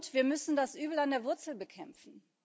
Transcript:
Wir müssen das Übel an der Wurzel bekämpfen.